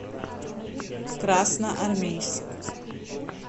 красноармейск